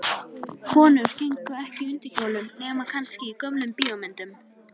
Konur gengu ekki í undirkjólum, nema kannski í gömlum bíómyndum.